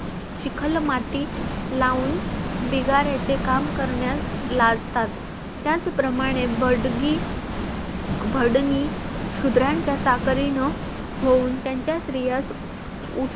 चिखल माती लावून बिगाऱ्यांचे काम करण्यास लाजतात त्याचप्रमाणे भडगी भडनी शुद्रांच्या चाकरीन होऊन त्यांच्या स्त्रियास